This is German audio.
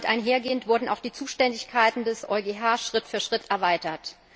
Damit einhergehend wurden auch die Zuständigkeiten des EuGH Schritt für Schritt erweitert.